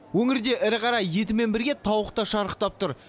өңірде ірі қара етімен бірге тауық та шарықтап тұр